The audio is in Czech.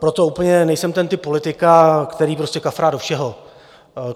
Proto úplně nejsem ten typ politika, který prostě kafrá do všeho.